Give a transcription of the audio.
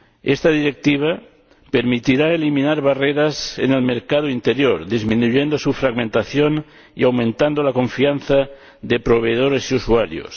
Esta Directiva permitirá eliminar barreras en el mercado interior, disminuyendo su fragmentación y aumentando la confianza de proveedores y usuarios.